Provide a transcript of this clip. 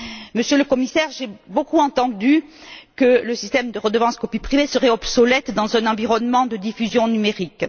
Monsieur le Commissaire, j'ai beaucoup entendu dire que le système de redevance pour copie privée serait obsolète, dans un environnement de diffusion numérique.